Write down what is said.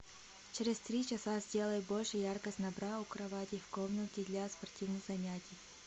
через три часа сделай больше яркость на бра у кровати в комнате для спортивных занятий